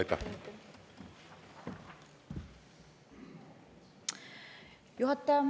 Juhataja!